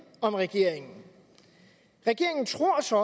om regeringen regeringen tror så